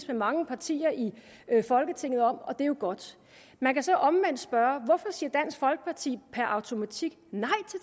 med mange partier i folketinget om og det er jo godt man kan så omvendt spørge hvorfor siger dansk folkeparti per automatik nej